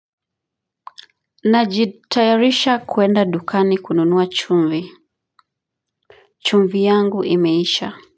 Najitayarisha kuenda dukani kununuwa chumvi. Chumvi yangu imeisha.